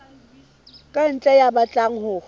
ka ntle ya batlang ho